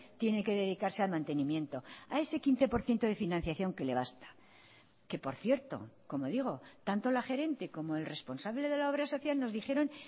tiene que dedicarse al mantenimiento a ese quince por ciento de financiación que le basta que por cierto como digo tanto la gerente como el responsable de la obra social nos dijeron